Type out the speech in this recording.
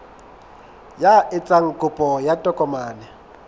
ya etsang kopo ya tokomane